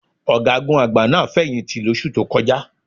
Ọ̀gágun àgbà náà fẹ̀yìǹtì lóṣù tó kọjá.